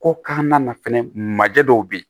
Ko kan na fɛnɛ majɛ dɔw bɛ yen